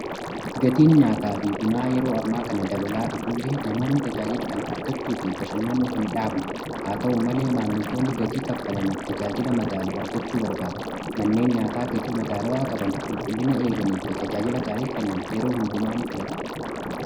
Gatiin nyaataa fi bunaa yeroo ammaa kana dabalaa dhufu illee namoonni tajaajila kana argachuu fi bashannanuu hin dhaabne. Haa ta'u malee maammiltoonni gatii kaffalaniif tajaajila madaalu argachuu barbaadu. Manneen nyaataa gatii madaalawaa qaban qulqullina eeganii fi tajaajila gaarii kennan yeroo hundumaa ni filatama.